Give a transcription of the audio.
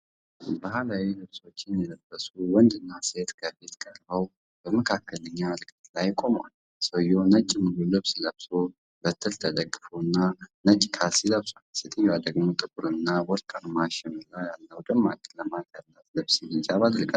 ባህላዊ ልብሶችን የለበሱ ወንድና ሴት ከፊት ቀርበው በመካከለኛ ርቀት ላይ ቆመዋል። ሰውየው ነጭ ሙሉ ልብስ ለብሶ፤ በትር ተደግፎና ነጭ ካልሲያ ለብሷል። ሴትየዋ ደግሞ ጥቁርና ወርቃማ ሽመልባ ያላት ደማቅ ቀለማት ያላት ልብስና ሂጃብ አድርጋለች።